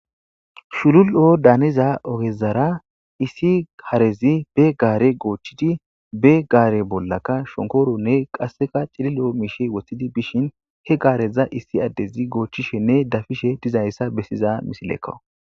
Shulul7o daaniza ogezara issi harezi be gaare goochchidi be gaare bollaka shonkkooronne qasseka cilil7o miishshe woththidi bishin he gaareza issi addezi goochchishenne dafishe dizayssa bessiza misilekko.